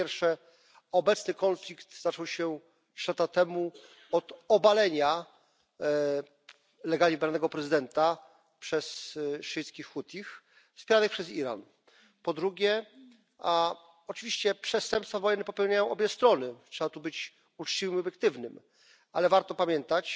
Po pierwsze, obecny konflikt zaczął się 3 lata temu od obalenia legalnie wybranego prezydenta przez szyickich Hutich wspieranych przez Iran. Po drugie, oczywiście przestępstwa wojenne popełniają obie strony, trzeba tu być uczciwym i obiektywnym, ale warto pamiętać,